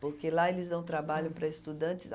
Porque lá eles dão trabalho para estudante